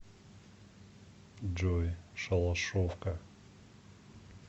джой шалашовка